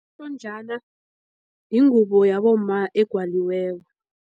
yingubo yabomma egwaliweko.